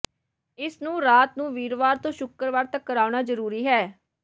ਇਸ ਨੂੰ ਰਾਤ ਨੂੰ ਵੀਰਵਾਰ ਤੋਂ ਸ਼ੁੱਕਰਵਾਰ ਤੱਕ ਕਰਾਉਣਾ ਜਰੂਰੀ ਹੈ